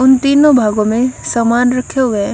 उन तीनों भागों में सामान रखे हुए हैं।